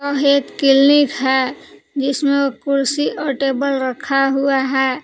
वह एक किल्निक है जिसमें कुर्सी और टेबल रखा हुआ है।